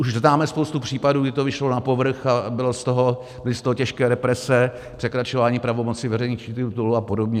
Už známe spoustu případů, kdy to vyšlo na povrch a byly z toho těžké represe, překračování pravomocí veřejných činitelů a podobně.